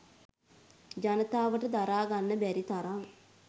ජනතාවට දරා ගන්න බැරි තරම්.